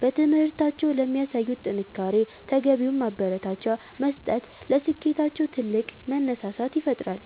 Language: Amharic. በትምህርታቸው ለሚያሳዩት ጥንካሬ ተገቢውን ማበረታቻ መስጠት ለስኬታቸው ትልቅ መነሳሳት ይፈጥራል።